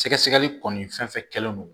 Sɛgɛsɛgɛli kɔni fɛn fɛn kɛlen don